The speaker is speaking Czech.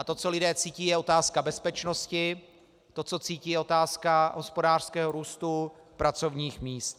A to, co lidé cítí, je otázka bezpečnosti, to co cítí, je otázka hospodářského růstu, pracovních míst.